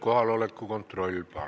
Kohaloleku kontroll, palun!